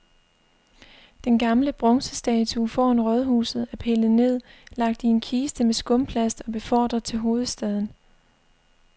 Den gamle bronzestatue foran rådhuset er pillet ned, lagt i en kiste med skumplast og befordret til hovedstaden.